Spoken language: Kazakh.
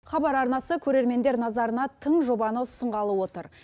хабар арнасы көрермендер назарына тың жобаны ұсынғалы отыр